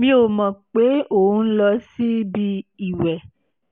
mi ò mọ̀ pé òun ń lọ síbi ìwẹ̀